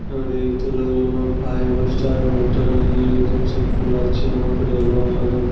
अरे ई तो लग रहलो हे फाइब स्टार होटल और एकदम से पूरा चमक रहलो हे एकदम।